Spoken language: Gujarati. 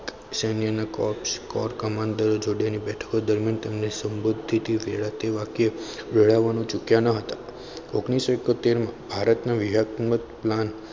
સૈન્ય ના cops core commander જોડે રહીને યુદ્ધ દરમિયાન તેમની સમૃદ્ધિથી કોરાતું વાક્ય મેળવવાનું ચૂક્યા ન હતા. ઓગણીસો ઈકોતેર માં ભારતના નામ